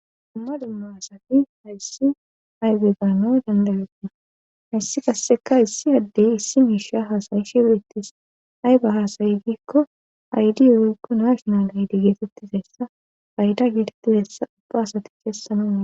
Dumma dumma asati hayssi aybe gaano dandayoppina hayssi kasseka issi haddey issi miisha haasayi shiweetis ay ba haasayi giikko aydi owaykko nashonal aydi geesettizessa bayda giirtihessa ubba asati keessanunna.